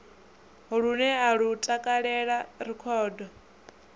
lune a lu takalela rekhodo